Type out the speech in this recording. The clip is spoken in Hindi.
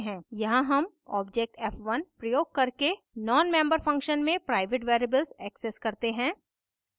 यहाँ हम object f1 प्रयोग करके nonmember function में प्राइवेट variables access करते हैं